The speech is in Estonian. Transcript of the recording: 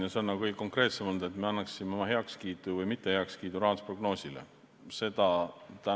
See on nagu kõige konkreetsem olnud, et me kas annaksime rahandusprognoosile oma heakskiidu või mitte.